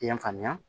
I y'a faamuya